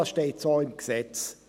Dies steht so im Gesetz.